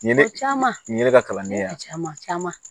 Ɲɛnɛ caman ɲɛnɛ caman caman